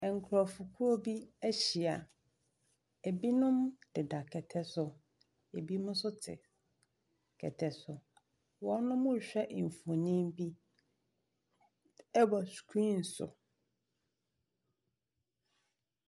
Nkurɔfokuo bi ahyia. Ebinom deda kɛtɛ so. Ebinom nso te kɛtɛ so. Wɔrehwɛ mfonin bi wɔ screen so.